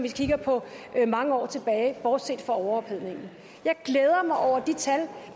mange år tilbage bortset fra overophedning jeg glæder mig over de tal